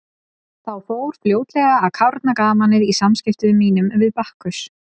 Þá fór fljótlega að kárna gamanið í samskiptum mínum við Bakkus.